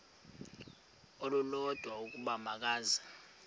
olulodwa ukuba makeze